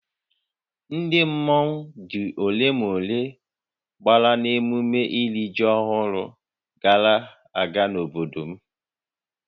Ndị mmọnwu dị ole na ole gbàrà n'ememme iri ji ọhụrụ gara aga n'obodo m